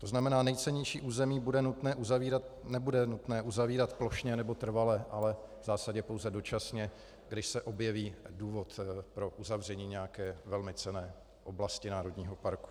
To znamená, nejcennější území nebude nutné uzavírat plošně nebo trvale, ale v zásadě pouze dočasně, když se objeví důvod pro uzavření nějaké velmi cenné oblasti národního parku.